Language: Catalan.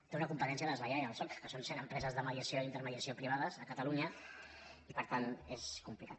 té una competència deslleial el soc que són cent empreses de mediació i intermediació privades a catalunya i per tant és complicat